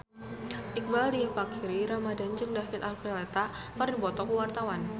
Iqbaal Dhiafakhri Ramadhan jeung David Archuletta keur dipoto ku wartawan